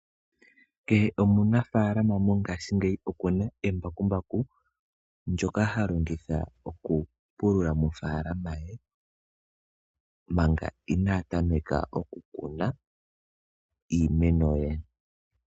Kehe omunafaalama mongaashingeyi okuna embakumbaku lyoka ha longitha oku pulula mofaalama ye manga inaa tameka oku kuna iimeno ye.